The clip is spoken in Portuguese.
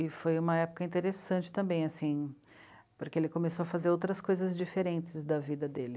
E foi uma época interessante também, assim, porque ele começou a fazer outras coisas diferentes da vida dele.